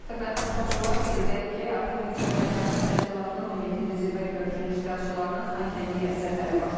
Hörmətli tamaşaçılar, qeyd edək ki, artıq iqtisadi əməkdaşlıq təşkilatının 17-ci zirvə görüşünün iştirakçılarının Xankəndiyə səfəri başlayıb.